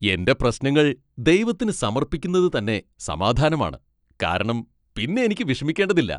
എന്റെ പ്രശ്നങ്ങൾ ദൈവത്തിന് സമർപ്പിക്കുന്നതു തന്നെ സമാധാനമാണ്, കാരണം പിന്നെ എനിക്ക് വിഷമിക്കേണ്ടതില്ല.